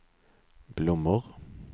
blommor